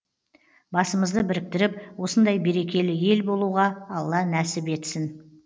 басымызды біріктіріп осындай берекелі ел болуға алла нәсіп етсін